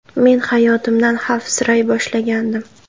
Men hayotimdan xavfsiray boshlagandim.